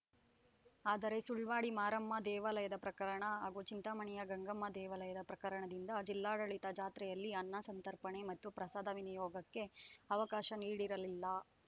ಆದರೆ ಸುಳ್ವಾಡಿ ಮಾರಮ್ಮ ದೇವಾಲಯದ ಪ್ರಕರಣ ಹಾಗೂ ಚಿಂತಾಮಣಿಯ ಗಂಗಮ್ಮ ದೇವಾಲಯದ ಪ್ರಕರಣದಿಂದ ಜಿಲ್ಲಾಡಳಿತ ಜಾತ್ರೆಯಲ್ಲಿ ಅನ್ನ ಸಂತರ್ಪಣೆ ಮತ್ತು ಪ್ರಸಾದ ವಿನಿಯೋಗಕ್ಕೆ ಅವಕಾಶ ನೀಡಿರಲಿಲ್ಲ